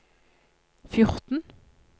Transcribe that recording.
fjorten